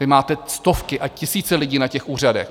Vy máte stovky a tisíce lidí na těch úřadech.